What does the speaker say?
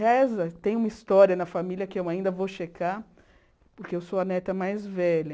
Reza, tem uma história na família que eu ainda vou checar, porque eu sou a neta mais velha.